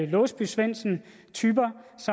låsby svendsen